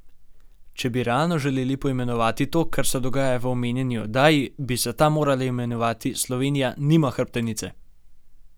Če bi realno želeli poimenovati to, kar se dogaja v omenjeni oddaji, bi se ta morala imenovati Slovenija nima hrbtenice!